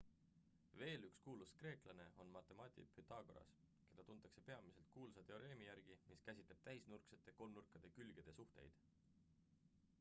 veel üks kuulus kreeklane on matemaatik pythagoras keda tuntakse peamiselt kuulsa teoreemi järgi mis käsitleb täisnurksete kolmnurkade külgede suhteid